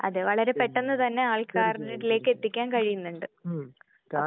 അതേ വളരെ പെട്ടെന്ന് തന്നെ ആൾക്കാരിലേക്ക് എത്തിക്കാൻ കഴിയുന്നുണ്ട്.അപ്പൊ